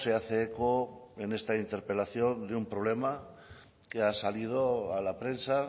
hace eco en esta interpelación de un problema que ha salido a la prensa